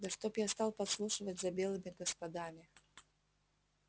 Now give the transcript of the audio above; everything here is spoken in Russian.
да чтоб я стал подслушивать за белыми господами